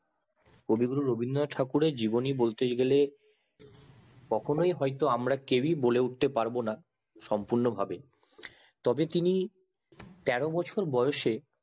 কবিগুরু রবীন্দ্রনাথ ঠাকুরের জীবনী বলতে গেলে কখনোই হয় তো কেউ ই বলতে পারবো না সম্পূর্ণ ভাবে তবে তিনি তেরো বছর বয়সে